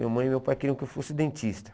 Minha mãe e meu pai queriam que eu fosse dentista.